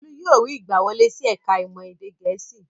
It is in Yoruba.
Bólú yóò rí ìgbàwọlé sí ẹ̀ka-ìmọ̀ èdè Gẹ̀ẹ́sì.